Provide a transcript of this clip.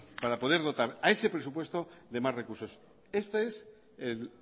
para poder dotar a ese presupuesto de más recursos este es el